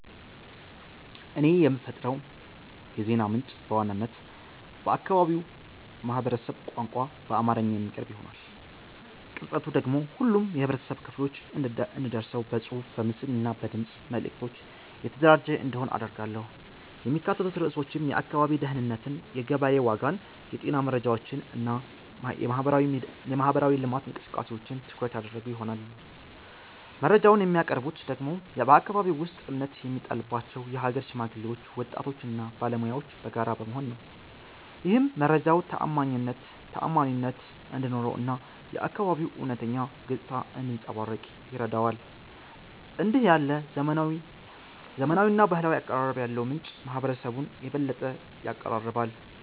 እኔ የምፈጥረው የዜና ምንጭ በዋናነት በአካባቢው ማህበረሰብ ቋንቋ በአማርኛ የሚቀርብ ይሆናል። ቅርጸቱ ደግሞ ሁሉም የህብረተሰብ ክፍሎች እንዲደርሰው በጽሑፍ፣ በምስል እና በድምፅ መልዕክቶች የተደራጀ እንዲሆን አደርጋለሁ። የሚካተቱት ርዕሶችም የአካባቢ ደህንነትን፣ የገበያ ዋጋን፣ የጤና መረጃዎችን እና የማህበራዊ ልማት እንቅስቃሴዎችን ትኩረት ያደረጉ ይሆናሉ። መረጃውን የሚያቀርቡት ደግሞ በአከባቢው ውስጥ እምነት የሚጣልባቸው የሀገር ሽማግሌዎች፣ ወጣቶች እና ባለሙያዎች በጋራ በመሆን ነው። ይህም መረጃው ተዓማኒነት እንዲኖረው እና የአካባቢው እውነተኛ ገጽታ እንዲያንጸባርቅ ይረዳዋል። እንዲህ ያለ ዘመናዊና ባህላዊ አቀራረብ ያለው ምንጭ ማህበረሰቡን የበለጠ ያቀራርባል።